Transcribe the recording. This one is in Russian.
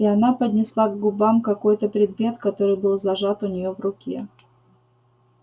и она поднесла к губам какой-то предмет который был зажат у нее в руке